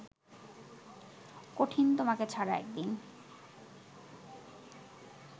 কঠিন তোমাকে ছাড়া একদিন